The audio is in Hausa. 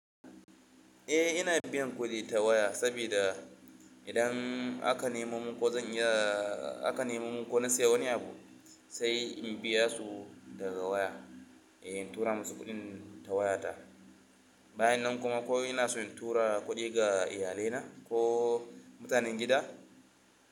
Eh ina biyan kuɗi ta waya sabida idan aka nemo mun ko zan yi da aka nemo mun ko na siya wani abu sai in biya su daga waya. In tura musu kuɗin ta waya ta. Bayan nan kuma ko ina son in tura kuɗi ga iyalina ko mutanen gida.